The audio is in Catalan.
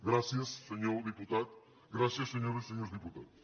gràcies senyor diputat gràcies senyores i senyors diputats